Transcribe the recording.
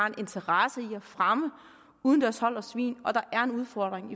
en interesse i at fremme udendørshold af svin og der var en udfordring